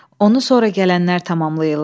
Onu sonra gələnlər tamamlayırlar.